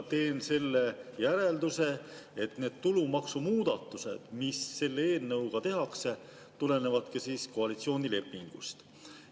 Teen järelduse, et need tulumaksumuudatused, mis selle eelnõuga tehakse, tulenevadki koalitsioonilepingust.